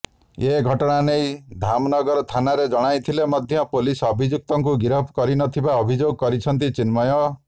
ଏ ଘଟଣା ନେଇ ଧାମନଗର ଥାନାରେ ଜଣାଇଥିଲେ ମଧ୍ୟ ପୋଲିସ ଅଭିଯୁକ୍ତକୁ ଗିରଫ କରିନଥିବା ଅଭିଯୋଗ କରିଛନ୍ତି ଚିନ୍ମୟ